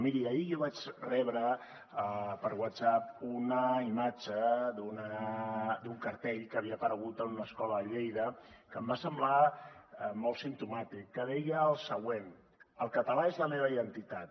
miri ahir jo vaig rebre per whatsapp una imatge d’un cartell que havia aparegut en una escola de lleida que em va semblar molt simptomàtic que deia el següent el català és la meva identitat